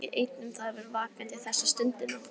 Nikki var ekki einn um það að vera vakandi þessa stundina.